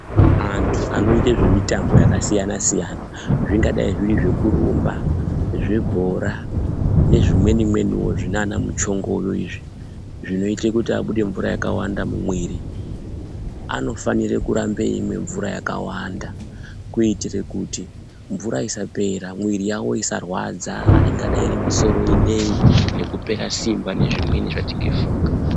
Antu anoita zvemitambo yakasiyana siyana, zvingadai zviri zvekurumba, zvebhora nezvimweni mweniwo zvinana muchongoyo izvi, zvinoita kuti abude mvura yakawanda mumwiri. Anofanira kuramba achimwa mvura yakawanda kuitira kuti mvura isapera, mwiri yavo isarwadza, ingadai iri musoro inei nekupera simba, nezvimweni zvatingafunga.